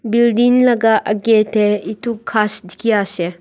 building laga agae tae etu ghas dekhi ase.